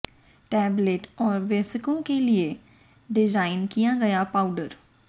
tablet और वयस्कों के लिए डिज़ाइन किया गया पाउडर